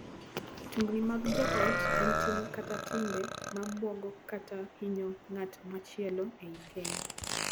Tungni mag joot en tim kata timbe ma buogo kata hinyo ng’at machielo ei keny.